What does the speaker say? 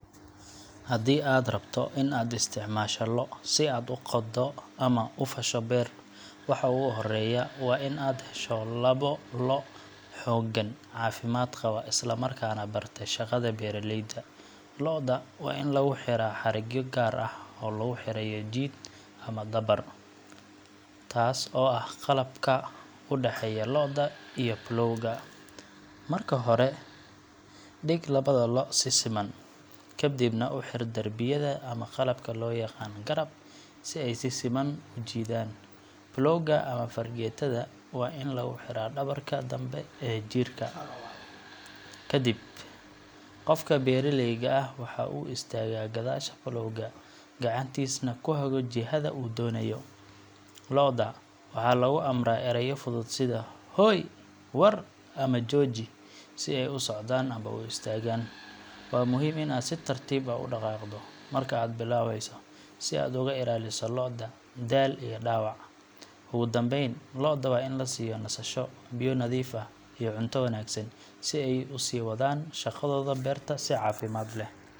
Haddii aad rabto in aad isticmaasho lo’ si aad u qoddo ama u fasho beer, waxa ugu horreeya waa in aad hesho labo lo’ oo xooggan, caafimaad qaba, isla markaana bartay shaqada beeralayda. Lo’da waa in lagu xidhaa xadhigyo gaar ah oo lagu xirayo jiid ama dabar taas oo ah qalabka u dhexeeya lo’da iyo plow ga. Marka hore, dhig labada lo’ si siman, kadibna ku xidh darbiyada ama qalabka loo yaqaan 'garab' si ay si siman u jiidaan. Plow ga ama fargeetada waa in lagu xidhaa dhabarka dambe ee jiidka. Kadib, qofka beeralayga ah waxa uu istaagaa gadaasha plow ga, gacantiisana ku hago jihada uu doonayo. Lo’da waxaa lagu amraa erayo fudud sida hooy, war ama jooji si ay u socdaan ama u istaagaan. Waa muhiim in aad si tartiib ah u dhaqaaqdo marka aad bilaabayso, si aad uga ilaaliso lo’da daal iyo dhaawac. Ugu dambayn, lo’da waa in la siiyo nasasho, biyo nadiif ah, iyo cunto wanaagsan si ay u sii wadaan shaqadooda beerta si caafimaad leh.